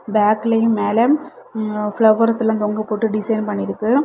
பேக்லெயும் மேல பிளவர்ஸ்லாம் தொங்கபோட்டு டிசைன் பண்ணிருக்கு.